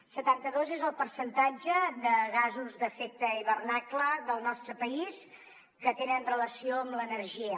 setanta dos és el percentatge de gasos d’efecte hivernacle del nostre país que tenen relació amb l’energia